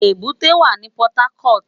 Ébùté wá ni Pòtákòt